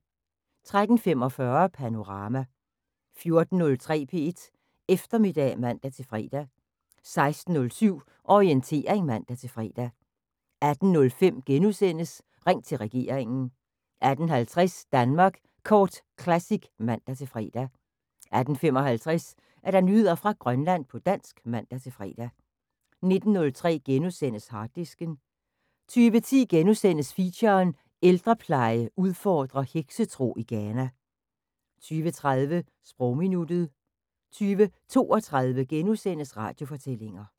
13:45: Panorama 14:03: P1 Eftermiddag (man-fre) 16:07: Orientering (man-fre) 18:05: Ring til regeringen * 18:50: Danmark Kort Classic (man-fre) 18:55: Nyheder fra Grønland på dansk (man-fre) 19:03: Harddisken * 20:10: Feature: Ældrepleje udfordrer heksetro i Ghana * 20:30: Sprogminuttet 20:32: Radiofortællinger *